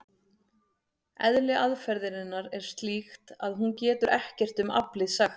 Eðli aðferðarinnar er slíkt að hún getur ekkert um aflið sagt.